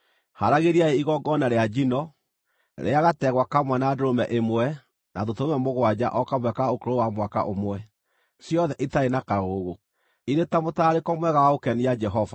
Haaragĩriai igongona rĩa njino, rĩa gategwa kamwe na ndũrũme ĩmwe na tũtũrũme mũgwanja o kamwe ka ũkũrũ wa mwaka ũmwe, ciothe itarĩ na kaũũgũ, irĩ ta mũtararĩko mwega wa gũkenia Jehova.